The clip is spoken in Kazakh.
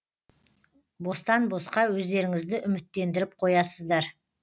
бостан босқа өздеріңізді үміттендіріп қоясыздар